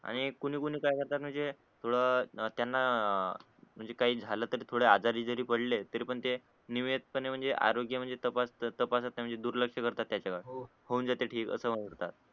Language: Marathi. आणि कोणी कोणी काय करतात म्हणजे थोड त्याना म्हणजे काय झालं तर थोडे आजारी जरी पडले तरी पण ते निवेद पणे म्हणजे आरोग्य म्हणजे तपासततपासत नाय म्हणजे दुर्लक्ष करतात त्याच्याकडे हो म्हणजे होऊन जात ठीक अस म्हणतात